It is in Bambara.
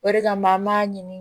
O de kama an b'a ɲini